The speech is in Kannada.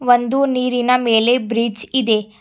ಒಂದು ನೀರಿನ ಮೇಲೆ ಬ್ರಿಡ್ಜ್ ಇದೆ.